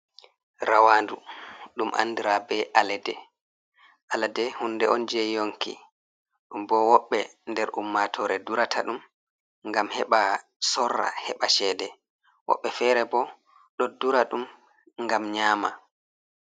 Rawandu. ɗum andira be alaɗe. Alade hunde on je yonki. Ɗumbo woɓɓe nder ummatore durata ɗum ngam heɓa sorra heɓa chede. Woɓɓe fere bo ɗo dura ɗum gam nyama.